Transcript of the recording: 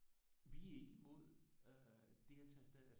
Vi er ikke imod øh det at tage afsted